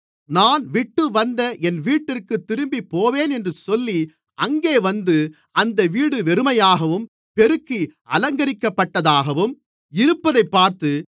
நான் விட்டுவந்த என் வீட்டிற்குத் திரும்பிப்போவேன் என்று சொல்லி அங்கே வந்து அந்த வீடு வெறுமையாகவும் பெருக்கி அலங்கரிக்கப்பட்டதாகவும் இருப்பதைப் பார்த்து